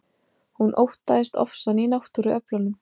Hún óttaðist ofsann í náttúruöflunum.